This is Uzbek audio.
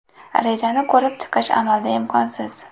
Rejani ko‘rib chiqish amalda imkonsiz.